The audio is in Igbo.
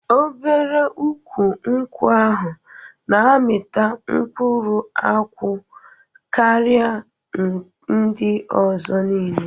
Obere ukwụ nkwụ ahụ na-amịta mkpụrụ akwụ karịa ndị ọzọ niile.